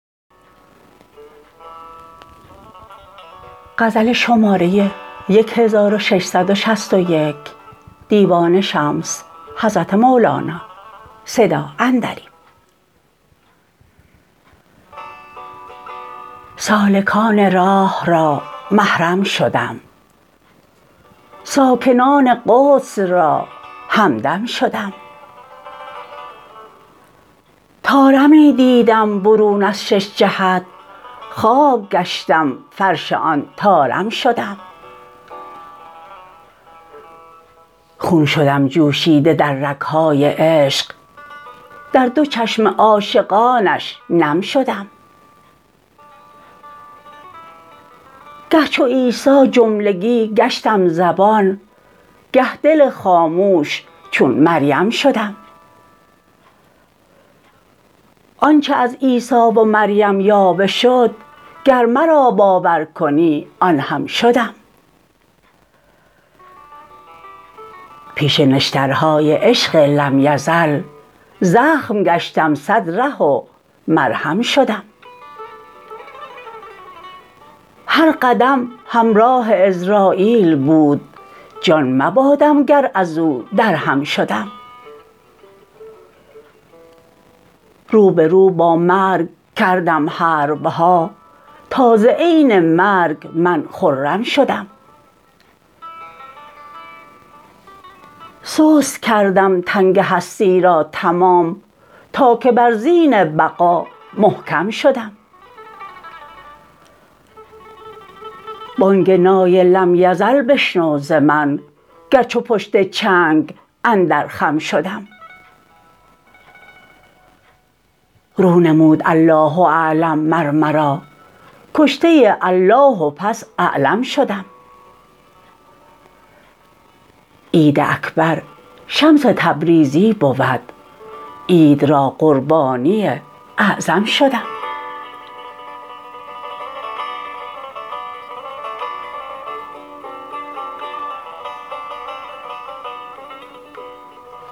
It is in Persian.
سالکان راه را محرم شدم ساکنان قدس را همدم شدم طارمی دیدم برون از شش جهت خاک گشتم فرش آن طارم شدم خون شدم جوشیده در رگ های عشق در دو چشم عاشقانش نم شدم گه چو عیسی جملگی گشتم زبان گه دل خاموش چون مریم شدم آنچ از عیسی و مریم یاوه شد گر مرا باور کنی آن هم شدم پیش نشترهای عشق لم یزل زخم گشتم صد ره و مرهم شدم هر قدم همراه عزراییل بود جان مبادم گر از او درهم شدم رو به رو با مرگ کردم حرب ها تا ز عین مرگ من خرم شدم سست کردم تنگ هستی را تمام تا که بر زین بقا محکم شدم بانگ نای لم یزل بشنو ز من گر چو پشت چنگ اندر خم شدم رو نمود الله اعلم مر مرا کشته الله و پس اعلم شدم عید اکبر شمس تبریزی بود عید را قربانی اعظم شدم